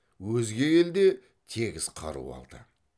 өзге ел де тегіс қару алды